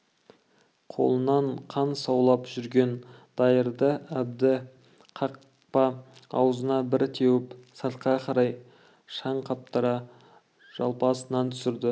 қолынан қан саулап жүрген дайырды әбді қақпа аузында бір теуіп сыртқа қарай шаң қаптыра жалпасынан түсірді